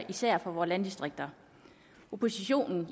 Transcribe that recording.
især for vore landdistrikter oppositionen